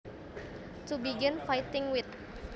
To begin fighting with